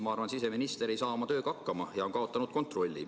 Ma arvan, et siseminister ei saa siis oma tööga hakkama ja on kaotanud kontrolli.